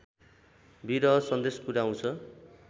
विरह सन्देश पुर्‍याउँछ